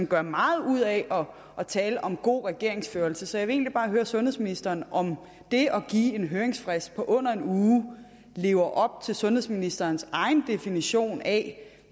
gør meget ud af at tale om god regeringsførelse så jeg vil egentlig sundhedsministeren om det at give en høringsfrist på under en uge lever op til sundhedsministerens egen definition af